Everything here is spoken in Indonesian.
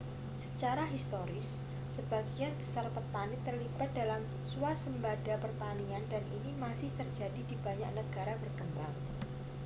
secara historis sebagian besar petani terlibat dalam swasembada pertanian dan ini masih terjadi di banyak negara berkembang